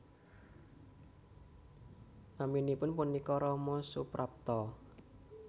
Naminipun punika Rama Suprapto